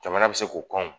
Jamana bɛ se k'o kɔn